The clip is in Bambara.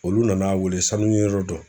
Olu nan'a weele sanu yɔrɔ dɔ